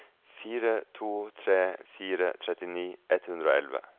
fire to tre fire trettini ett hundre og elleve